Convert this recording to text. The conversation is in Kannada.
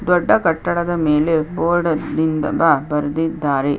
ದೊಡ್ಡ ಕಟ್ಟಡ ದ ಮೇಲೆ ಬೊರ್ಡು ಅಲ್ಲಿ ಬರೆದಿದ್ದರೆ.